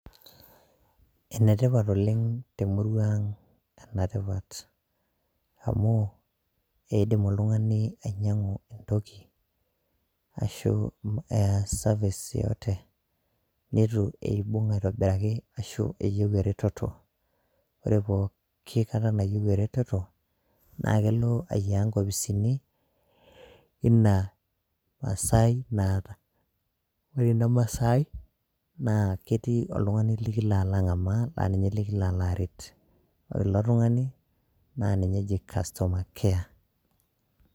Enetipaat oleng te murua ang' ena tipaat amu eidiim ltung'ani ainyang'u ntokii ashuu ee service yeyote netuu eibung'u aitobiraki ashuu eiyee eretoto. Ore pooki kaata naiyee retoto naa keloo ainyaa nkofisini ena maasai naata, ore ena maasai naa ketii oltung'ani likiloo alang' amaata naa ninyee likiloo areet. Ore elo naa ninyee ejii customer care.